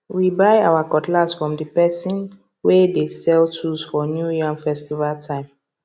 we buy our cutlass from the person way dey sell tools for new yam festival time